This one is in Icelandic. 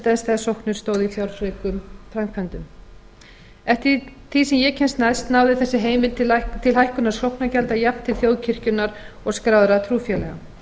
dæmis þegar sóknir stóðu í fjárfrekum framkvæmdum eftir því sem ég kemst næst náði þessi heimild til hækkunar sóknargjalda jafnt til þjóðkirkjunnar og skráðra trúfélaga